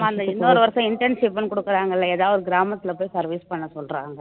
அந்த இன்னொரு வருஷம் intensive ன்னு கொடுக்குறாங்க இல்லை ஏதாவது ஒரு கிராமத்துல போய் service பண்ண சொல்றாங்க